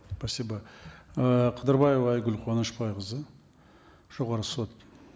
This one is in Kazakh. спасибо э қыдырбаева айгүл қуанышбайқызы жоғарғы сот